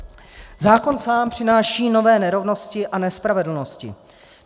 Zákon sám přináší nové nerovnosti a nespravedlnosti.